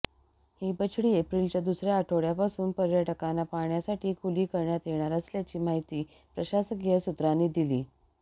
ही बछडी एप्रिलच्या दुसऱ्या आठवड्यापासून पर्यंटकांना पाहण्यासाठी खुली करण्यात येणार असल्याची माहिती प्रशासकीय सूत्रांनी दिली